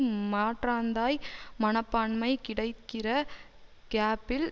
மாற்றாந்தாய் மனப்பான்மை கிடைக்கிற கேப்பில்